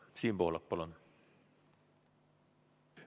Siim Pohlak, palun!